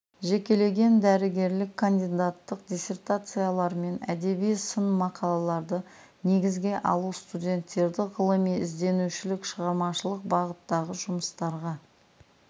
жекелеген дәрігерлік кандидаттық диссертациялармен әдеби сын мақалаларды негізге алу студенттерді ғылыми ізденушілік шығармашылық бағыттағы жұмыстарға